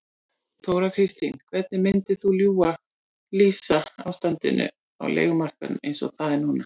Þóra Kristín: Hvernig myndir þú lýsa ástandinu á leigumarkaðnum eins og það er núna?